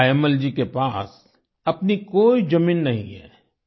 तायम्मल जी के पास अपनी कोई जमीन नहीं है